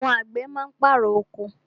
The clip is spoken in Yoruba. Àwọn àgbẹ̀ má ń pàrọ̀ oko.